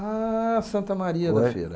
Ah, Santa Maria da Feira.